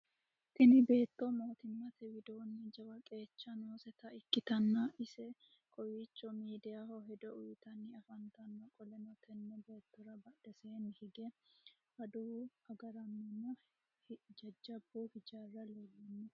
Tinni beetto mootimmate widoonni jawu qeechi nooseta ikitanna ise kowicho miidayaho hedo uyitanni afantano. Qoleno tenne beettora badheseenni hige adawu agaraanonna jajabu hijaari leelano.